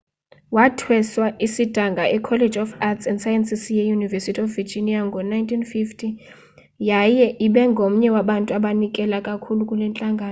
wathweswa isidanga ecollege of arts & sciences yeuniversity of virginia ngo-1950 yaye ebengomnye wabantu abanikela kakhulu kule ntlangano